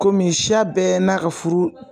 Komi siya bɛɛ n'a ka furu